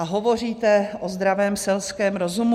A hovoříte o zdravém selském rozumu?